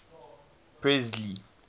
presley